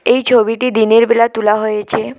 এই ছবিটি দিনেরবেলা তুলা হয়েছে।